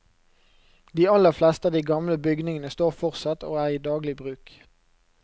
De aller fleste av de gamle bygningene står fortsatt og er i daglig bruk.